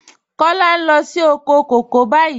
Kọla ń lọ sí òkò kọ̀kọ̀ báyìí.